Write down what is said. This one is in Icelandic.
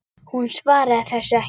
Hún svaraði þessu ekki.